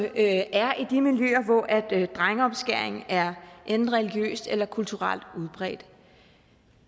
er i de miljøer hvor drengeomskæring er enten religiøst eller kulturelt udbredt